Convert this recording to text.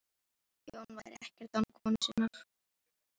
Jón væri ekkert án konu sinnar